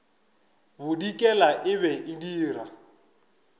bodikela e be e dira